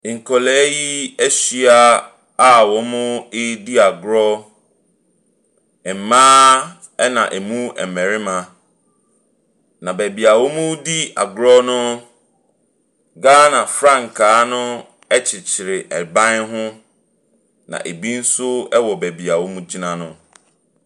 Nkwadaa yi ahyia a wɔredi agorɔ. Mmaa na ɛmu mmarima. Na beebi a wɔredi agorɔ no, Ghana frankaa no kyekyere ban ne ho. Na binom nso wɔ beebi wɔtena no.